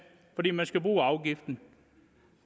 fordi man skal bruge afgiften